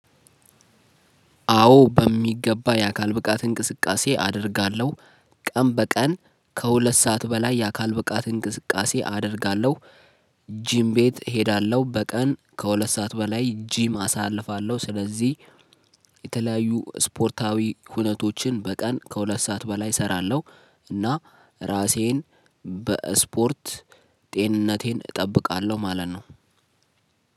አዎ በሚገባ የአካል ብቃት እንቅስቃሴ አደርጋለሁ። ቀን በቀን ከሁለት ሰዓት በላይ የአካል ብቃት እንቅስቃሴ አደርጋለሁ። ጂም ቤት እሄዳለሁ በቀን ከሁለት ሰዓት በላይ ጂም አሳልፋለሁ ስለዚህ። የተለያዩ ስፖርታዊ ሁነቶችን በቀን ከሁለት ሰዓት በላይ እሰራለሁ። እና እራሴን በስፖርት ጤንነቴን እጠብቃለሁ ማለት ነው።